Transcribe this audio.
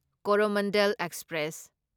Coromandel express